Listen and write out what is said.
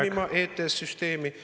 …reformima EDF-i süsteemi.